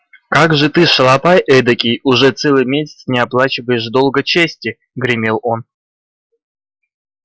как же ты шалопай эдакий уже целый месяц не оплачиваешь долга чести гремел он